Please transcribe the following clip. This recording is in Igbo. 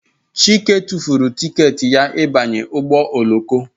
Chike tụfuru tiketi ya ịbanye ụgbọ oloko